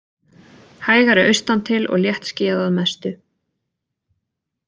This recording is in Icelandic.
Hægari austantil og léttskýjað að mestu